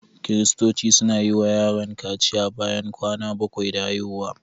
Kiristoci suna yi wa yaron kaciya bayan kwana bakwai da haihuwa.